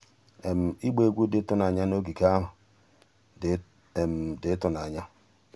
ịgba egwu dị ịtụnanya na ogige ahụ dị ịtụnanya.